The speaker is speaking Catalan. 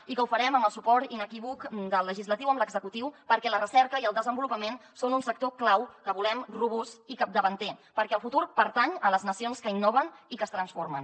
i ho farem amb el suport inequívoc del legislatiu amb l’executiu perquè la recerca i el desenvolupament són un sector clau que volem robust i capdavanter perquè el futur pertany a les nacions que innoven i que es transformen